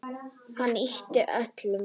Hann ypptir öxlum.